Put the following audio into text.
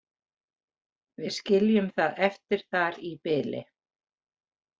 Við skiljum það eftir þar í bili.